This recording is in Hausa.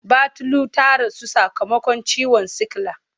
Batulu ta rasu sakamakon ciwon sikila.